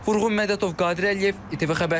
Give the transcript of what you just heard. Vurğun Mədətov, Qadir Əliyev, ATV xəbər.